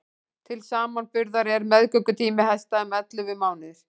til samanburðar er meðgöngutími hesta um ellefu mánuðir